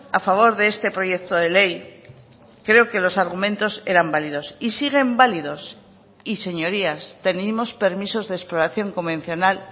a favor de este proyecto de ley creo que los argumentos eran válidos y siguen válidos y señorías tenemos permisos de exploración convencional